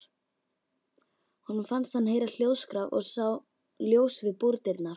Honum fannst hann heyra hljóðskraf og sá ljós við búrdyrnar.